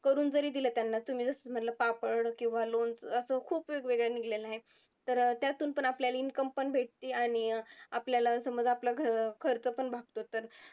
करून जरी दिलं त्यांना तुम्ही जसं म्हंटला पापड किंवा लोणचं असं खूप वेगवेगळे निघलेले आहेत, तर त्यातून पण आपल्याला income पण भेटती आणि आपल्याला समज आपला खर्च पण भागतो तर